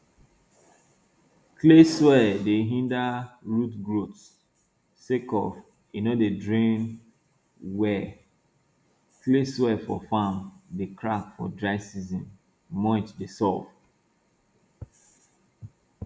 clay soil dey hinder root growth sake of e no dey drain well clay soil for farm dey crack for dry season mulch dey solve